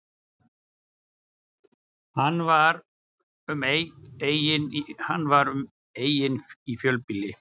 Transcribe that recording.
Hann var um eign í fjölbýli